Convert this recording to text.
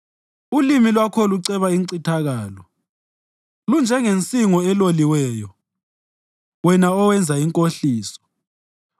Ulimi lwakho luceba incithakalo; lunjengensingo eloliweyo, wena owenza inkohliso.